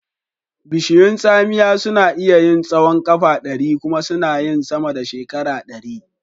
Bishiyun tsamiya suna iya yin tsahon ƙafa ɗari kuma sana yin sama da shekara ɗari.